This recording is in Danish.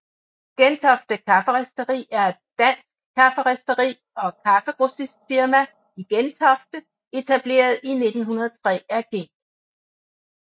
Gentofte Kafferisteri er et dansk kafferisteri og kaffegrossistfirma i Gentofte etableret i 1903 af G